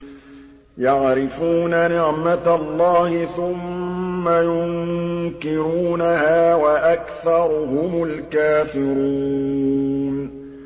يَعْرِفُونَ نِعْمَتَ اللَّهِ ثُمَّ يُنكِرُونَهَا وَأَكْثَرُهُمُ الْكَافِرُونَ